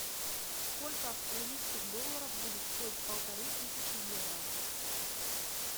сколько австралийских долларов будет стоить полторы тысячи евро